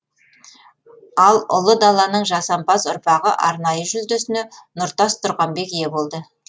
ал ұлы даланың жасампаз ұрпағы арнайы жүлдесіне нұртас тұрғанбек ие болды